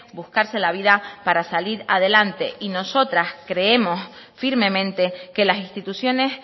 buscarse la vida para salir adelante y nosotras creemos firmemente que las instituciones